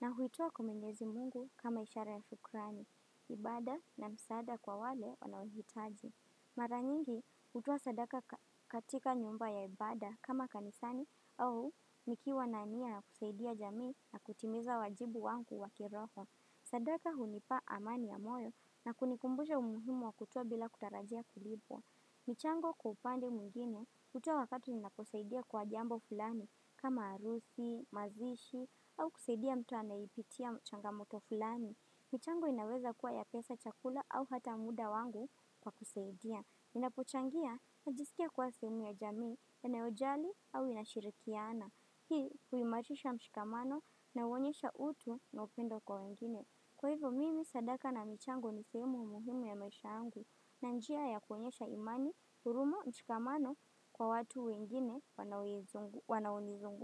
na huitua kwa mwenyezi Mungu kama ishara ya shukrani, ibada na msaada kwa wale wanaohitaji. Maranyingi hutoa sadaka katika nyumba ya ibada kama kanisani au nikiwa na nia kusaidia jamii na kutimiza wajibu wangu wa kiroho. Sadaka hunipa amani ya moyo na kunikumbusha umuhimu wa kutoa bila kutarajia kulipwa. Michango kwa upande mwingine utoa wakati ninaposaidia kwa jambo fulani kama arusi, mazishi au kusaidia mtu anayeipitia changamoto fulani. Michango inaweza kuwa ya pesa chakula au hata muda wangu kwa kusaidia. Ninapochangia najisikia kwa seemi ya jamii inaojali au inashirikiana. Hii huimarisha mshikamano na uonyesha utu na upendo kwa wengine. Kwa hivyo mimi sadaka na michango ni seemu muhimu ya maisha yangu. Na njia ya kuonyesha imani, huruma, mshikamano kwa watu wengine wanaonizunguka.